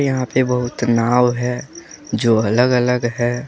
यहां पे बहुत नाव हैं जो अलग अलग है।